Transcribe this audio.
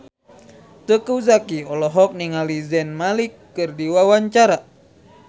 Teuku Zacky olohok ningali Zayn Malik keur diwawancara